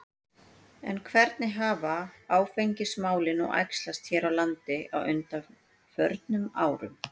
En hvernig hafa áfengismálin nú æxlast hér á landi á undanförnum árum?